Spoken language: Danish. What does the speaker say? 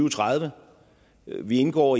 og tredive vi indgår